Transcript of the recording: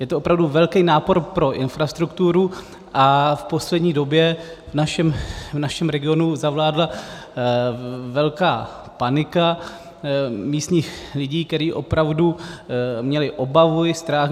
Je to opravdu velký nápor pro infrastrukturu a v poslední době v našem regionu zavládla velká panika místních lidí, kteří opravdu měli obavu i strach.